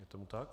Je tomu tak.